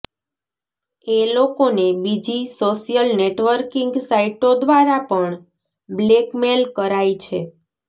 એ લોકોને બીજી social networking સાઇટો દ્વારા પણ બ્લેકમેલ કરાય છે